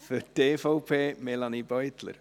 Für die EVP-Fraktion spricht Melanie Beutler.